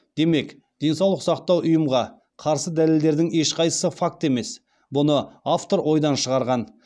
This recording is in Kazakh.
демек денсаулық сақтау ұйымға қарсы дәлелдердің ешқайсысы факті емес бұны автор ойдан шығарған